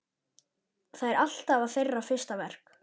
Það er alltaf þeirra fyrsta verk.